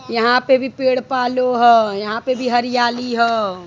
यहाँ पे भी पेड़ पालो ह। यहाँ पे भी हरियाली ह।